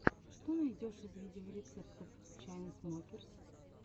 что найдешь из видеорецептов чайнсмокерс